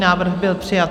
Návrh byl přijat.